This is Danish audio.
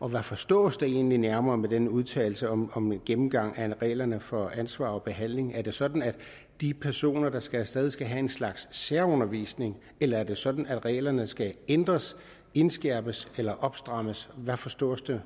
og hvad forstås der egentlig nærmere ved den udtalelse om om en gennemgang af reglerne for ansvar og behandling af det sådan at de personer der skal af sted skal have en slags særundervisning eller er det sådan at reglerne skal ændres indskærpes eller opstrammes hvad forstås der